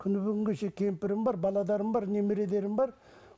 күні бүгінге шейін кемпірім бар бар бар